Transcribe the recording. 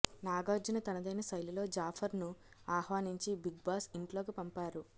నాగార్జున తనదైన శైలిలో జాఫర్ ను ఆహ్వానించి బిగ్ బాస్ ఇంట్లోకి పంపారు